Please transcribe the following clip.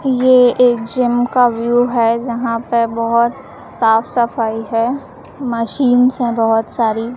ये एक जिम का व्यू है जहां पे बहोत साफ सफाई है मशीनस् हैं बहोत सारी --